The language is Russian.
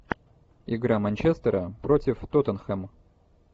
игра манчестера против тоттенхэм